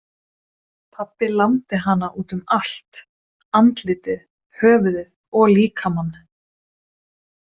Pabbi lamdi hana út um allt, andlitið, höfuðið og líkamann.